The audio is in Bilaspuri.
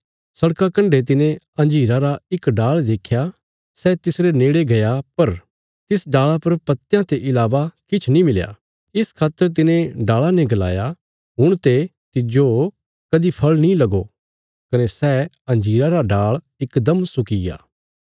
बाट्टा रे कण्डे तिने अंजीरा रा इक डाल़ देख्या सै तिसरे नेड़े गया पर तिस डाल़ा पर पत्तयां ते इलावा किछ नीं मिलया इस खातर तिने डाल़ा ने गलाया हुण ते तिज्जो कदीं फल़ नीं लगो कने सै अंजीरा रा डाल़ इकदम सुक्कीग्या